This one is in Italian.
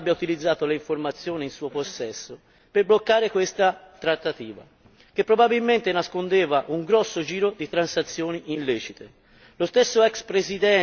Mi domando quindi perché non abbia utilizzato le informazioni in suo possesso per bloccare questa trattativa, che probabilmente nascondeva un grosso giro di transazioni illecite.